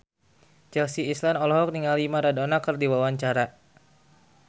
Chelsea Islan olohok ningali Maradona keur diwawancara